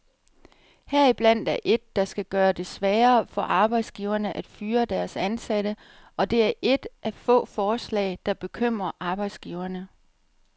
Heriblandt er et, der skal gøre det sværere for arbejdsgiverne at fyre deres ansatte, og det er et af få forslag, der bekymrer arbejdsgiverne.